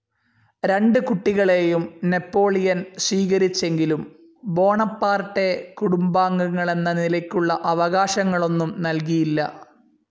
രണ്ടു കുട്ടികളെയും നാപ്പോളിയൻ സ്വീകരിച്ചെങ്കിലും ബോണപ്പാർട്ടെ കുടുംബാംഗങ്ങളെന്ന നിലയ്ക്കുള്ള അവകാശങ്ങളൊന്നും നൽകിയില്ല.